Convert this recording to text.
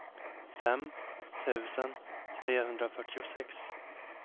fem tusen trehundrafyrtiosex